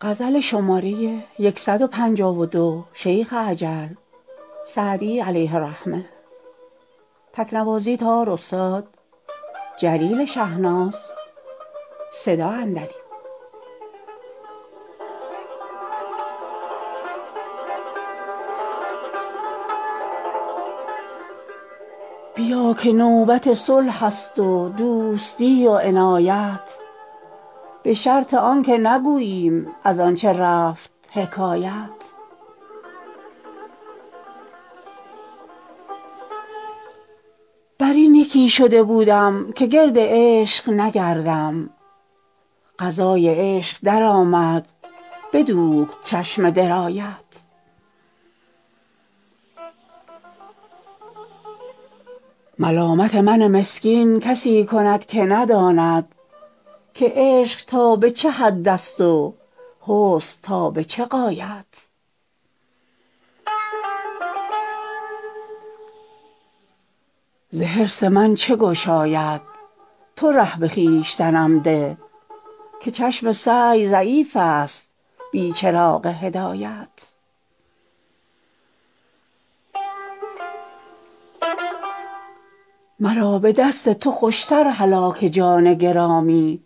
بیا که نوبت صلح است و دوستی و عنایت به شرط آن که نگوییم از آن چه رفت حکایت بر این یکی شده بودم که گرد عشق نگردم قضای عشق درآمد بدوخت چشم درایت ملامت من مسکین کسی کند که نداند که عشق تا به چه حد است و حسن تا به چه غایت ز حرص من چه گشاید تو ره به خویشتنم ده که چشم سعی ضعیف است بی چراغ هدایت مرا به دست تو خوش تر هلاک جان گرامی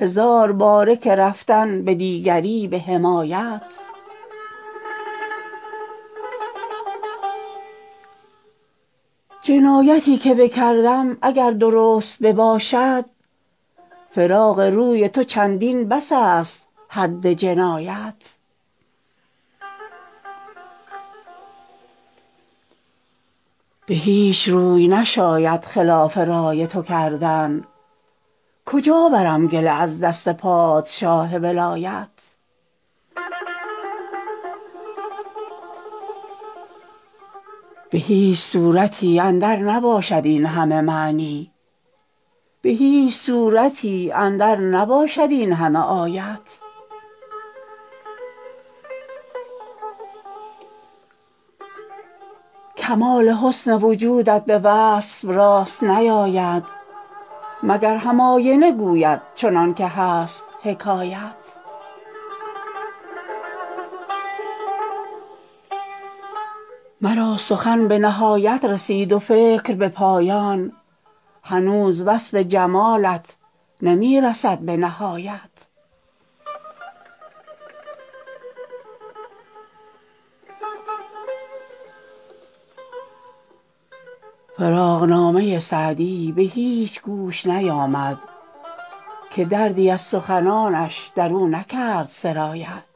هزار باره که رفتن به دیگری به حمایت جنایتی که بکردم اگر درست بباشد فراق روی تو چندین بس است حد جنایت به هیچ روی نشاید خلاف رای تو کردن کجا برم گله از دست پادشاه ولایت به هیچ صورتی اندر نباشد این همه معنی به هیچ سورتی اندر نباشد این همه آیت کمال حسن وجودت به وصف راست نیاید مگر هم آینه گوید چنان که هست حکایت مرا سخن به نهایت رسید و فکر به پایان هنوز وصف جمالت نمی رسد به نهایت فراقنامه سعدی به هیچ گوش نیامد که دردی از سخنانش در او نکرد سرایت